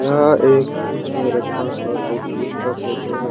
यह फ्रिज में रखा हुआ दो केक का फोटो है।